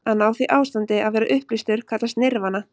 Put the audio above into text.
Að ná því ástandi, að vera upplýstur, kallast nirvana.